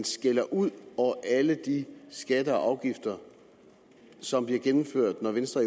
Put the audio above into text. skælder ud over alle de skatter og afgifter som bliver gennemført når venstre